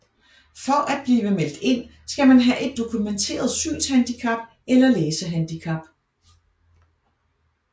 For at blive meldt ind skal man have et dokumenteret synshandicap eller læsehandicap